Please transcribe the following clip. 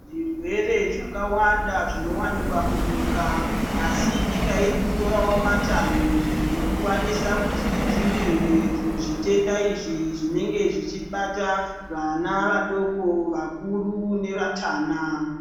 Zvirwere zvakawanda zvinowanikwa munyika asi nyika irikutorawo matanhu ekukwanisa kuti idzivirire zvitenda izvo zvinenge zvichibata vana vadoko, vakuru nevatana.